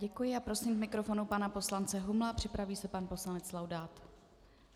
Děkuji a prosím k mikrofonu pana poslance Humla, připraví se pan poslanec Laudát.